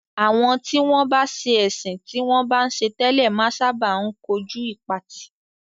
Àwọn tí wọ́n bá sẹ́ ẹ̀sìn tí wọ́n bá ń ṣe tẹ́lẹ̀ máa ń sábà kojú ìpatì.